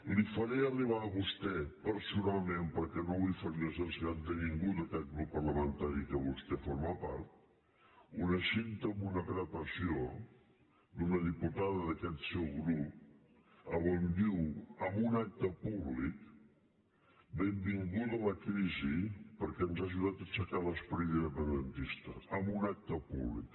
li faré arribar a vostè personal·ment perquè no vull ferir la sensibilitat de ningú d’a·quest grup parlamentari de què vostè forma part una cinta amb una gravació d’una diputada d’aquest seu grup on diu en un acte públic benvinguda la crisi perquè ens ha ajudat a aixecar l’esperit independentis·ta en un acte públic